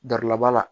Dalaba la